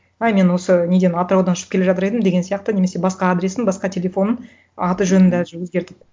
а мен осы неден атыраудан ұшып келе жатыр едім деген сияқты немесе басқа адресін басқа телефонын аты жөнін даже өзгертіп